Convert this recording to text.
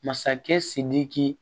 Masakɛ sidiki